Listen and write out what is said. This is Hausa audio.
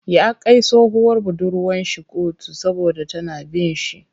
Ya kai tsohuwar budurwar shi koto saboda tana bin shi.